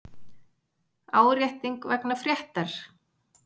Árétting vegna fréttar